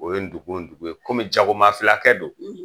O ye dugun dugun ye, komi jagoma fila kɛ don